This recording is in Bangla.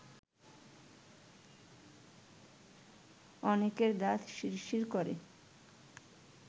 অনেকের দাঁত শিরশির করে